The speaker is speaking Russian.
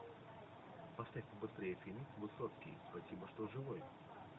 поставь побыстрее фильм высоцкий спасибо что живой